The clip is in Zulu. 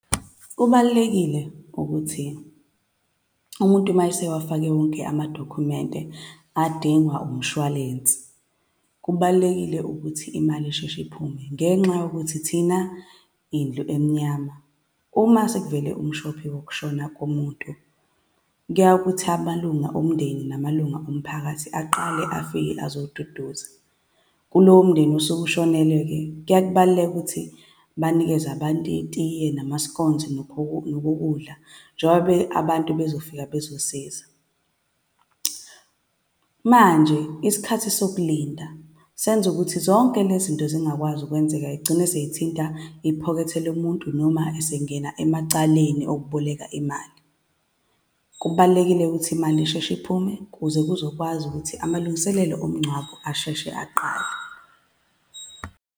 Kubalulekile ukuthi umuntu uma esewafake wonke amadokhumenti adingwa umshwalensi, kubalulekile ukuthi imali isheshe iphume ngenxa yokuthi thina indlu emnyama uma sekuvele umshophi wokushona komuntu, kuyaye kuthi amalunga omndeni namalunga omphakathi aqale afike azoduduza. Kulowo mndeni osuke ushonelwe-ke kuyaye kubaluleke ukuthi banikeze abantu itiye, nama-scones, nokokudla, njengobe abantu bezofika bezosiza. Manje, isikhathi sokulinda senza ukuthi zonke le zinto zingakwazi ukwenzeka, y'gcine sey'thinta iphokethe lomuntu, noma esengena emacaleni okuboleka imali. Kubalulekile-ke ukuthi imali isheshe iphume ukuze kuzokwazi ukuthi amalungiselelo omngcwabo asheshe aqale.